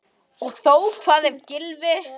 Og þó Hvað ef Gylfi.